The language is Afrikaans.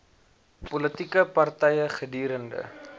politieke party gedurende